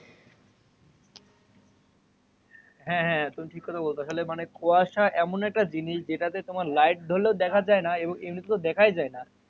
হ্যা হ্যা তুমি কথা বোলো আসলে মানে কুয়াশা এমন একটা জিনিস যেটা তোমার light ধরলেও দেখাই যাই না এবং এমনিতে তো দেখায় যায়না